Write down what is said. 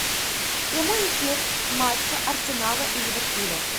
прямой эфир матча арсенала и ливерпуля